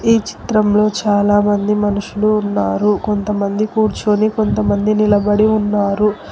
ఈ చిత్రంలో చాలామంది మనుషులు ఉన్నారు కొంతమంది కూర్చొని కొంతమంది నిలబడి ఉన్నారు.